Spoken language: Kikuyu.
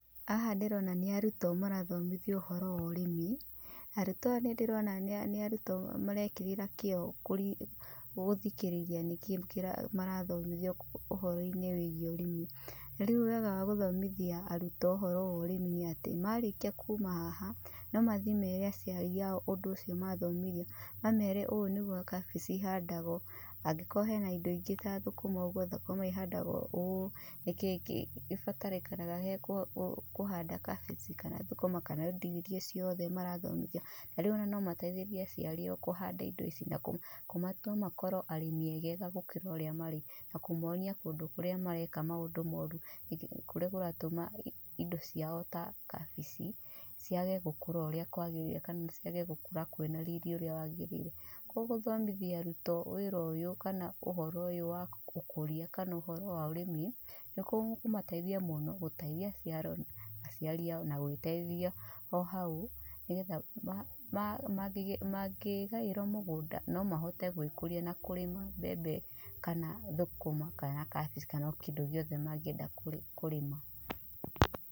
Haha ndĩrona nĩ arutwo marathomithio ũhoro wa ũrĩmi. Arutwo aya nĩ ndĩrona nĩ arutwo marekĩrĩra kĩo gũthikĩrĩria nĩ kĩ marathomithio ũhoro-inĩ wĩgiĩ ũrĩmi. Na rĩu wega wa gũthomithia arutwo ũhoro wa ũrĩmi nĩ atĩ marĩkia kuma haha, no mathiĩ mere aciari aao ũndũ ũcio mathomithio. Mamere ũũ nĩguo kabici ihandagwo, na angikorwo hena indo ingĩ ta thũkũma uguo ihandagwo ũũ, nĩkĩĩ gĩbatarĩkanaga harĩ kũhanda kabici kana thũkũma kana indo iria ciothe mara thomithio. Na rĩu ona no mateithĩrĩrie aciari aao kũhanda indo ici na kũmatua makorwo arĩmi egega gũkĩra ũrĩa marĩ. Na kũmonia kũndũ kũrĩa mareka maũndũ moru, kurĩa kuratũma indo ciao ta kabici ciage gũkũra ũrĩa kwagĩrĩire kana ciage gũkũra kwĩna riri ũrĩa wagĩrĩire. Koguo gũthomithia arutwo wĩra ũyũ kana ũhoro ũyũ wa ũkũria kana uhoro wa ũrĩmi, nĩ gũkũmateithia mũno gũteitia aciari aao na gwĩteithia o hau, nĩgetha mangĩgairwo mũgũnda no mahote gwĩkũria na kũrĩma mbembe kana thũkũma kana kabici kana o kĩndũ gĩothe mangĩenda kũrĩma.